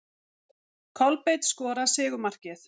Kolbeinn skorar sigurmarkið.